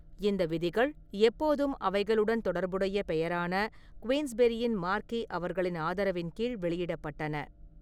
இந்த விதிகள், எப்போதும் அவைகளுடன் தொடர்புடைய பெயரான, குயின்ஸ்பெரியின் மார்க்வெஸ் அவர்களின் ஆதரவின் கீழ் வெளியிடப்பட்டன.